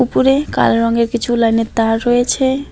উপরে কালো রঙের কিছু লাইনের তার রয়েছে।